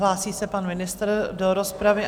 Hlásí se pan ministr do rozpravy?